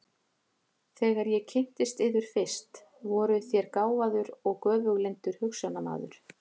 Þegar ég kynntist yður fyrst, voruð þér gáfaður og göfuglyndur hugsjónamaður.